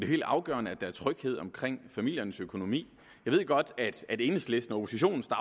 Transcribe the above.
helt afgørende at der er tryghed omkring familiernes økonomi jeg ved godt at enhedslistens